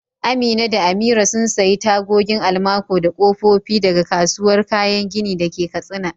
Amina da Amira sun sayi tagogin almaco da kofofi daga kasuwar kayan gini da ke Katsina.